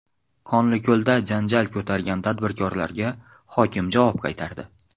Qonliko‘lda janjal ko‘targan tadbirkorlarga hokim javob qaytardi.